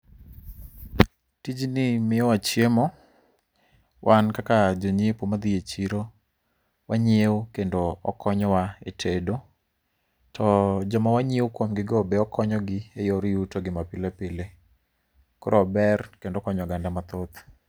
Tijni miyowa chiemo, wan kaka jonyiepo madhi e chiro, wanyiewo kendo okonyowa e tedo. To joma wanyiewo kuom gigo be okonyogi eyor yutogi mapile pile. Koro ober kendo okonyo oganda mathoth.